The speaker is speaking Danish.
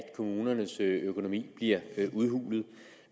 kommunernes økonomi bliver udhulet